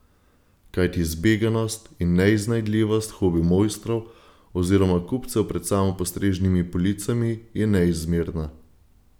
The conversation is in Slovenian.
Kajti zbeganost in neiznajdljivost hobi mojstrov oziroma kupcev pred samopostrežnimi policami je neizmerna.